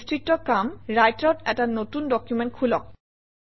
বিস্তৃত কাম ৰাইটাৰত এটা নতুন ডকুমেণ্ট খোলক